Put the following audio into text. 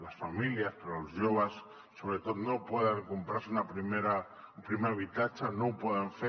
les famílies però els joves sobretot no poden comprar se un primer habitatge no ho poden fer